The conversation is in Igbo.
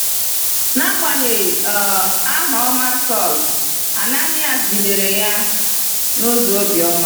N’agbanyeghị um aha ọma Saulu, Ananias jidere ya n’ụzọ obiọma.